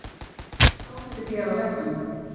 Hann sá eftir því að hafa hrætt hann.